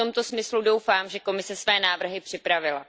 A v tomto smyslu, doufám, že Komise své návrhy připravila.